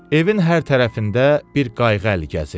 Evin hər tərəfində bir qayğı əl gəzirdi.